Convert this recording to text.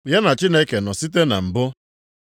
Ya na Chineke nọ site na mbụ.